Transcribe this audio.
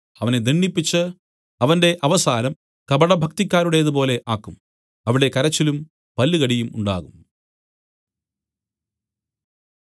അവനെ ദണ്ഡിപ്പിച്ച് അവന്റെ അവസാനം കപടഭക്തിക്കാരുടേതുപോലെ ആക്കും അവിടെ കരച്ചിലും പല്ലുകടിയും ഉണ്ടാകും